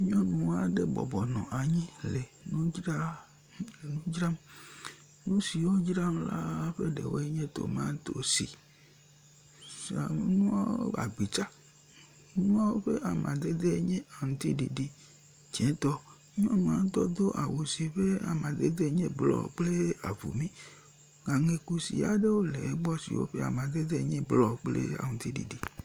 Nyɔnu aɖe bɔbɔnɔ anyi ɖe nudzr nudzram. Nu siwo dzram wolea ƒe ɖewoe nye tomatosi, flawɔŋu, agbitsa. Nuawo ƒe amadede nye aŋtiɖiɖi dzetɔ. Nyɔnua ɖutɔ do awu si ƒe amadede nye avumi. Aŋe kusi aɖewo le egbɔ siwo ƒe amaded enye blɔ kple aŋutiɖiɖi.